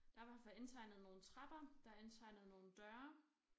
Der i hvert fald indtegnet nogle trapper der er indtegnet nogle døre